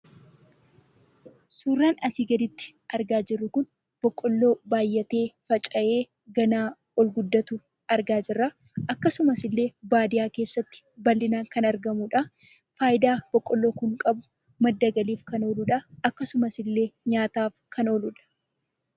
Suuraan asii gaditti argaa jirru kun boqqolloo baayyatee faca'ee ganaa ol guddatu argaa jirraa, akkasumaaillee baadiyyaa keessatti bal'inaan kan argamudhaa, faayidaan boqqolloo kun qabu madda galiif kan ooluudhaa .Akkasumasillee nyaataaf kan ooludha.